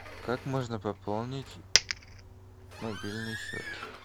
как можно пополнить мобильный счет